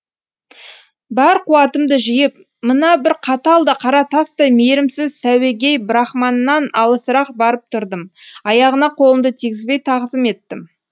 бар қуатымды жиып мына бір қатал да қара тастай мейірімсіз сәуегей брахманнан алысырақ барып тұрдым аяғына қолымды тигізбей тағзым еттім